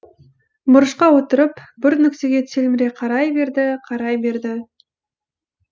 бұрышқа отырып бір нүктеге телміре қарай берді қарай берді